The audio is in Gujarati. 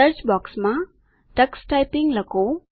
સર્ચ બૉક્સમાં ટક્સ ટાઈપીંગ લખો